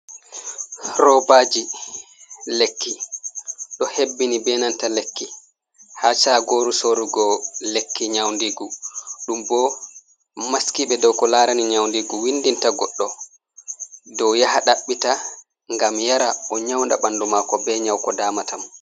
Roobaji lekki ɗo hebbini, be nanta lekki ha chagoru sorugo lekki nyaundigu, ɗum bo maskibe dow ko larani nyaundigu, windinta goddo dow yaha ɗaɓɓita ngam yara o nyaunda bandu mako be nyauko damata mo.